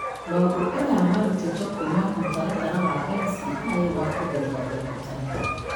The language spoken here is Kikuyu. Maũndũ aya marũtĩtwo kuuma mũtaratara wa NCI wa kũgeria ũrigitani.